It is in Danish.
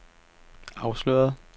afsløret